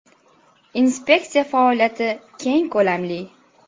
Inspeksiya faoliyati keng ko‘lamli.